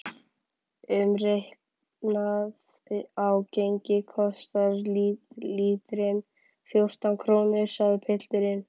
Umreiknað á gengi kostar lítrinn fjórtán krónur, sagði pilturinn.